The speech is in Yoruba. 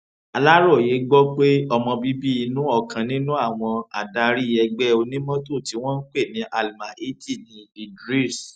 aláròye gbọ pé ọmọ bíbí inú ọkàn nínú àwọn adarí ẹgbẹ onímọtò tí wọn ń pè ní almahiti ní idris